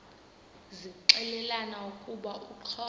zixelelana ukuba uxhosa